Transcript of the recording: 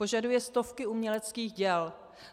Požaduje stovky uměleckých děl.